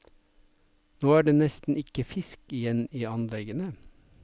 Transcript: Nå er det nesten ikke fisk igjen i anleggene.